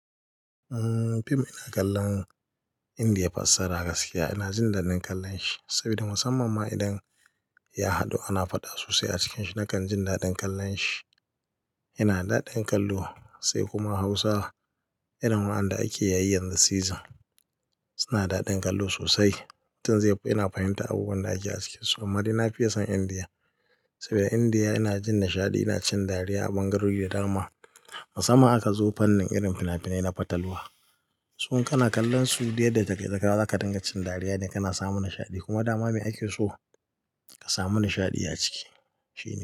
Uhm, fim ina kallon Indiya fassara gaskiya ina jin daɗin kallon shi saboda musamman ma idan ya haɗu ana faɗa sosai a cikin shi nakan jin daɗin kallon shi. Yana da daɗin kallo sai kuma Hausa irin waɗanda ake yayi yanzu season suna daɗin kallo sosai. Toh dai yana fahimtar abubuwan da ake ciki. Sumari na fiye son Indiya saboda Indiya ina jin nishaɗi ina cin dariya a bangarori da darma. Musamman aka zo fannin irin finafinai na fatalwa. Su in kana kallon su dai daga kai tsaka wa zaka dinga cin dariya dai kana samun nishaɗi kuma dama me ake so ka samu nishaɗi a ciki shi.